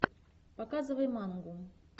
показывай мангу